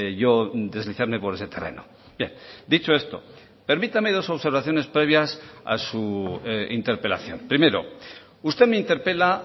yo deslizarme por ese terreno bien dicho esto permítame dos observaciones previas a su interpelación primero usted me interpela